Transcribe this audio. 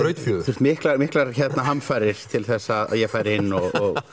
þurft miklar miklar hamfarir til þess að ég færi inn og